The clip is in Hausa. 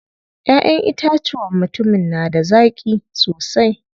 Ƴaʼƴen itacuwan mutumin na da zaƙi sosai.